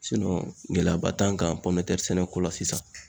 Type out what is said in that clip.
Sinɔn gɛlɛyaba t'an kan pɔminɛtɛri sɛnɛko la sisan